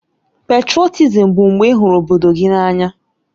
Pètrotizim bụ mgbe ị hụrụ obodo gị n'anya